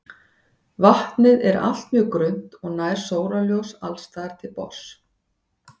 Vatnið er allt mjög grunnt og nær sólarljós alls staðar til botns.